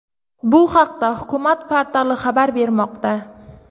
Bu haqda Hukumat portali xabar bermoqda .